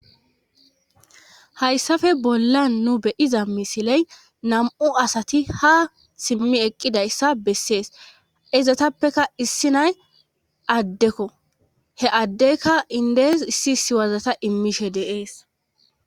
Hayssappe bollan nu be'iza misile nam'u asati ha simmi eqqidayssa beesees. Izatappekka issinay addekko he addeka indes issi issi wazata imishe de'ees.